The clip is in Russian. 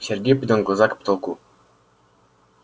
сергей поднял глаза к потолку